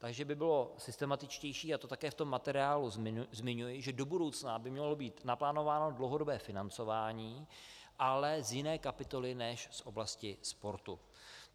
Takže by bylo systematičtější, a to také v tom materiálu zmiňuji, že do budoucna by mělo být naplánováno dlouhodobé financování, ale z jiné kapitoly než z oblasti sportu.